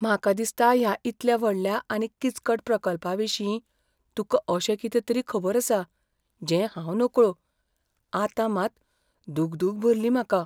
म्हाका दिसता ह्या इतल्या व्हडल्या आनी किचकट प्रकल्पाविशीं तुका अशें कितें तरी खबर आसा, जें हांव नकळो. आतां मात दुगदूग भरली म्हाका.